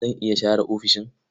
Zan iya share ofishin.